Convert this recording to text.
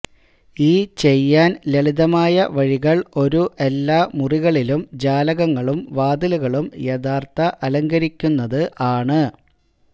ഈ ചെയ്യാൻ ലളിതമായ വഴികൾ ഒരു എല്ലാ മുറികളിലും ജാലകങ്ങളും വാതിലുകളും യഥാർത്ഥ അലങ്കരിക്കുന്നത് ആണ്